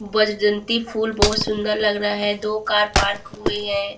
बलजंती फुल बहुत सुंदर लग रहा है दो कार पार्क हुए हैं।